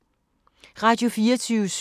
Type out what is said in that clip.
Radio24syv